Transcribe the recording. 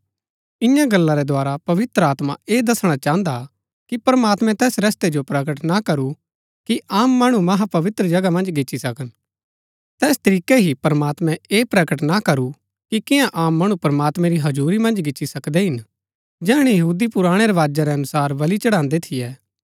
इन्या गल्ला रै द्धारा पवित्र आत्मा ऐह दसणा चाहन्दा हा कि प्रमात्मैं तैस रस्तै जो प्रकट ना करू कि आम मणु महापवित्र जगह मन्ज गिच्ची सकन तैस तरीकै ही प्रमात्मैं ऐह प्रकट ना करू कि कियां आम मणु प्रमात्मैं री हजुरी मन्ज गिच्ची सकदै हिन जैहणै यहूदी पुराणै रवाजा रै अनुसार बलि चढ़ान्दै थियै